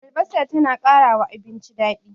Albasa ta na ƙarawa abinci daɗi